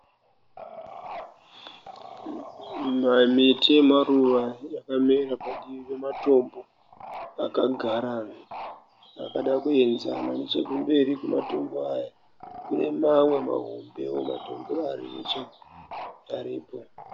Miti yemaruva yakamera parutivi pematombo akagarana akada kuenzana. Nechekumberi kwematombo aya kune mamwe mahombewo matombo aripo.